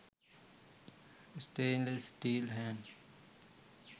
stainless steel hand